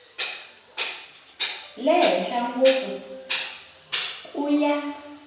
le henhla ngopfu ku ya